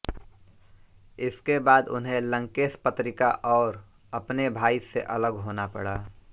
इसके बाद उन्हें लंकेश पत्रिका और अपने भाई से अलग होना पड़ा